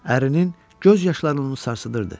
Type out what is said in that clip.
Ərinin göz yaşlarını sarsıdırdı.